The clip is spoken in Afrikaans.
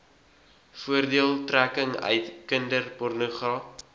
voordeeltrekking uit kinderpornogra